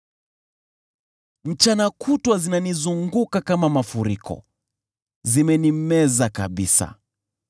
Mchana kutwa zinanizunguka kama mafuriko; zimenimeza kabisa.